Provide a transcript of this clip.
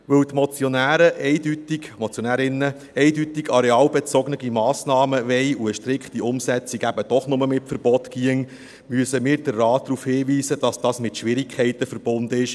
Da die Motionäre und Motionärinnen eindeutig arealbezogene Massnahmen wollen und eine strikte Umsetzung eben doch nur mit Verboten gehen würde, müssen wir den Rat darauf hinweisen, dass dies mit Schwierigkeiten verbunden ist.